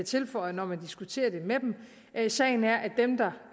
tilføjer når man diskuterer det med dem er sagen at dem der